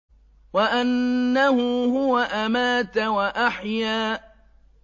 وَأَنَّهُ هُوَ أَمَاتَ وَأَحْيَا